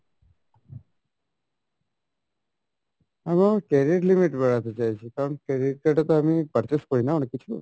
credit limit বাড়াতে চাইছি কারন credit card এ তো আমি purchase করি না অনেক কিছু